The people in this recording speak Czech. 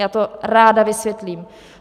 Já to ráda vysvětlím.